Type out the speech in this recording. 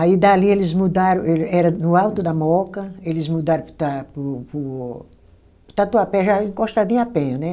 Aí dali eles mudaram eu, era no alto da Mooca, eles mudaram para o ta, para o para o, para o Tatuapé, já encostadinho à penha, né?